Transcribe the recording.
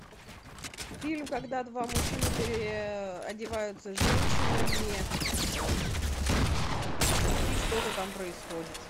фильм когда два мужчины переодеваются женщинами и что то там происходит